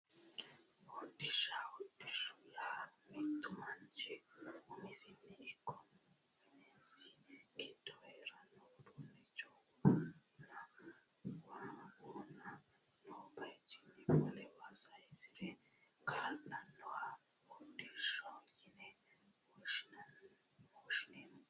Hodhishsha hodhishshaho yaa mittu manchi umosino ikko minisi giddo heeranno uduunnicho wona noo bayichinni wolewa saysirate kaa'lannoha hodhishshaho yine woshshineemmo